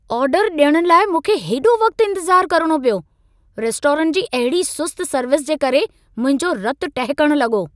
आर्डरु ॾियण लाइ मूंखे हेॾो वक़्तु इंतिज़ार करणो पियो। रेस्टोरंट जी अहिड़ी सुस्त सर्विस जे करे मुंहिंजो रतु टहिकण लॻो!